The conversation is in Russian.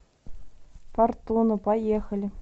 фортуна поехали